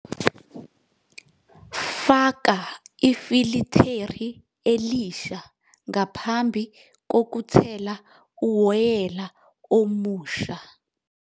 Faka ifiliteri elisha ngaphambi kokuthela uwoyela omusha.